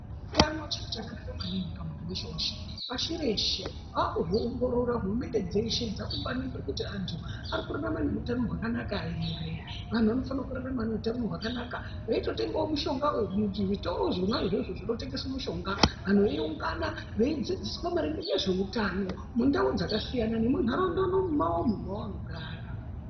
Utano chiro chakanaka maningi pamunhu weshe weshe pashi reshe vakuzviongorora hurumende dzeshe dzakufanike kuti anhu ari kurarama neutano hwakanaka ere vanhu vanofanire kurarama neutano hwakanaka veitotengawo mishonga muzvitoro zvona izvozvo zvinotengeswa mushonga vanhu veiungana veidzidziswa maringe nezveutano mundau dzakasiyana nemunharaunda mwawomwo mwavanogara.